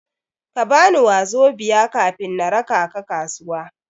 Kabani 'wazobia' kafin na raka ka kasuwa.